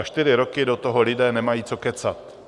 A čtyři roky do toho lidé nemají co kecat.